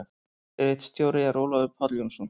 Ritstjóri er Ólafur Páll Jónsson.